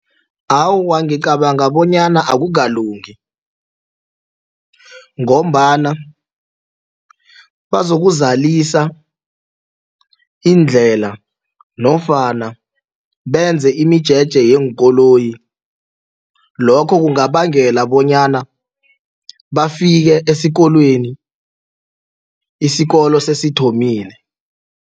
Awa, ngicabanga bonyana akukalungi ngombana bazokuzalisa iindlela nofana benze imijeje yeenkoloyi lokho kungabangela bonyana bafike esikolweni isikolo sesithomile.